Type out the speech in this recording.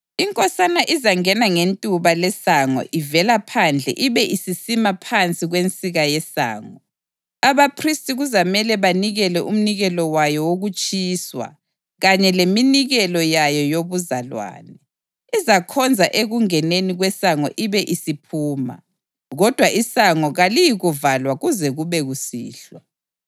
Inkosana izangena ngentuba lesango ivela phandle ibe isisima phansi kwensika yesango. Abaphristi kuzamele banikele umnikelo wayo wokutshiswa kanye leminikelo yayo yobuzalwane. Izakhonza ekungeneni kwesango ibe isiphuma, kodwa isango kaliyikuvalwa kuze kube kusihlwa.